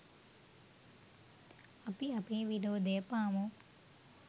අපි අපේ විරෝධය පාමු.